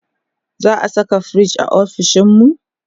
za'a Saka firij ofishinmu?